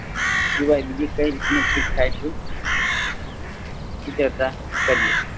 સિવાય બીજી કઈ રીતનું થાય છે. ચિત્રતા કરીયે